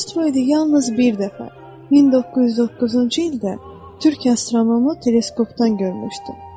Bu asteroidi yalnız bir dəfə 1909-cu ildə Türkiyə astronomu teleskopdan görmüşdü.